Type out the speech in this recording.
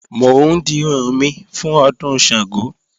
Mò ń dirun mi fún Ọdún Ṣàngó